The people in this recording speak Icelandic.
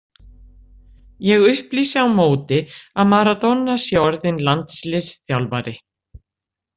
Ég upplýsi á móti að Maradona sé orðinn landsliðsþjálfari.